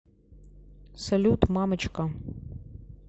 салют мамочка